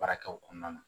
Baarakɛw kɔnɔna na